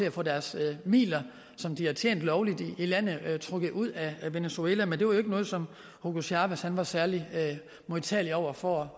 at få deres midler som de har tjent lovligt i landet trukket ud af venezuela men det var ikke noget som hugo chávez var særlig modtagelig over for